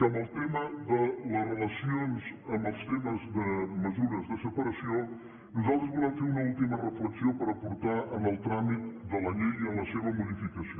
en el tema de les relacions en els temes de mesures de separació nosaltres volem fer una última reflexió per aportar en el tràmit de la llei i en la seva modificació